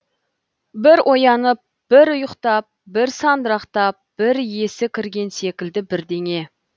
бір оянып бір ұйқтап бір сандырақтап бір есі кірген секілді бірдеңе